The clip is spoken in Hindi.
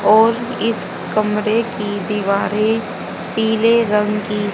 और इस कमरे की दीवारें पीले रंग की--